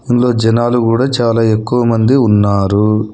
ఇందులో జనాలు గూడ చాలా ఎక్కువ మంది ఉన్నారు.